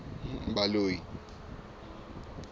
baloi